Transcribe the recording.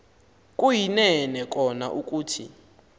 kuyinene kona ukuthi